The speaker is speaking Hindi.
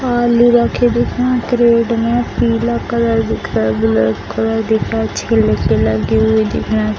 आलू रखे दिख रहे है क्रेड में पीला कलर दिख रहा है ब्लैक कलर दिख रहा है छिलके लगे हुए दिख रहे --